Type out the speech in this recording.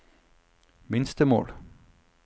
minstemål